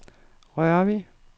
Rørvig